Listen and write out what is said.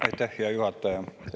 Aitäh, hea juhataja!